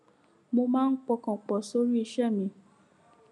mo máa ń pọkàn pò sórí iṣé mi